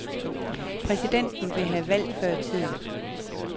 Præsidenten vil have valg før tiden.